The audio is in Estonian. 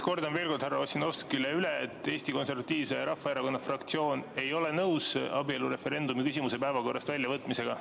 Kordan veel kord härra Ossinovskile üle, et Eesti Konservatiivse Rahvaerakonna fraktsioon ei ole nõus abielureferendumi küsimuse päevakorrast väljavõtmisega.